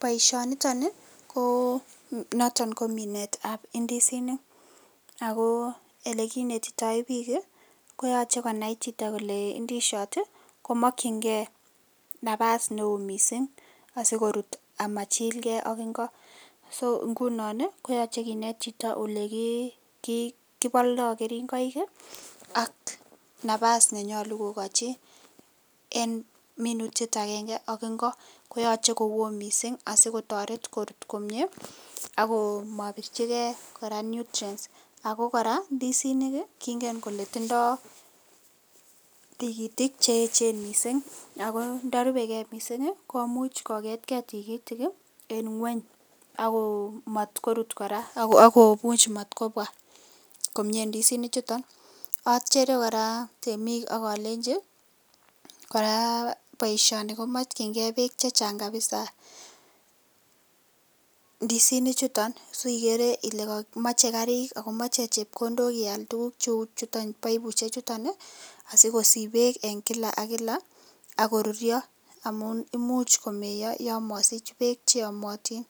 Baishoni niton ko noton ko Minet ab indisinik ako elekinetitoe bik koyaache konai Chito k8le inidishiot kamikingei nabas neon mising asikorut amachilgei AK Ingo so inginon koyache kenet Chito oleki baldoo keringoi AK nabas nenyolu ko kekachi en minutik chuto AK Ingo koyache ko Kwon mising kotaret korut komie akomabirchi gei koraa nutrients ako koraa indisinik kingen Kole tindoi tikitik cheyechen mising ako ntarubw gei mising komuch kogetgei tigitik en ngweny akot matkorut koraa akomuche matkobwa k8mie indisinik chuton achere koraa temik akalenji koraa baisho komamache bik chechang kabisa ndisinik chuton sigere Kole mache Karik akomache chepkondok iyalde tuguk cheu chuton baibushiek chuton asikosob bek en kila AK kila akorurio amun imuchi komeya yamasich bek cheyamatin